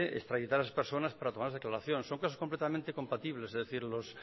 extraditar a esas personas para tomarles declaración son casos completamente compatibles es decir los